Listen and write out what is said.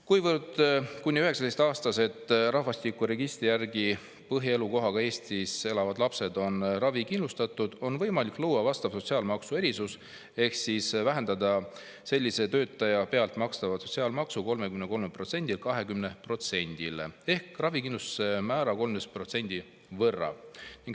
Kuna kuni 19‑aastased rahvastikuregistri järgi põhielukohaga Eestis elavad lapsed on ravikindlustatud, on võimalik luua vastav sotsiaalmaksu erisus ehk siis vähendada sellise töötaja pealt makstav sotsiaalmaks 33%‑lt 20%-le ehk vähendada ravikindlustuse määra 13% võrra.